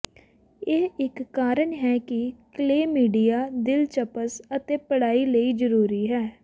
ਇਹ ਇਕ ਕਾਰਨ ਹੈ ਕਿ ਕਲੇਮੀਡੀਆ ਦਿਲਚਸਪ ਅਤੇ ਪੜ੍ਹਾਈ ਲਈ ਜ਼ਰੂਰੀ ਹੈ